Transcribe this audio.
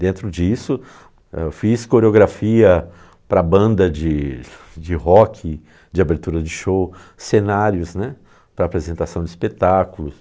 Dentro disso, eu fiz coreografia para banda de de rock, de abertura de show, cenários, né, para apresentação de espetáculos.